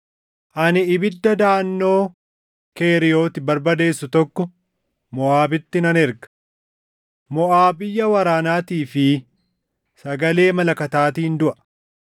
ani ibidda daʼannoo Keriiyooti barbadeessu tokko Moʼaabitti nan erga. Moʼaab iyya waraanaatii fi sagalee malakataatiin duʼa.